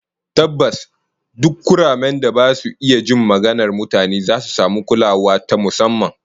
Tabbas, duk kuramen da ba su iya jin maganar mutane zasu samu kulawa ta musamman